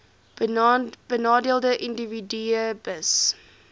benadeelde individue hbis